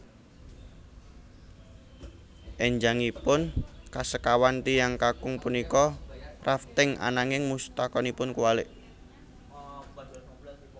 Enjangipun kasekawan tiyang kakung punika rafting ananging mustakanipun kuwalik